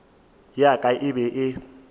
ya ka e be e